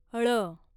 ळ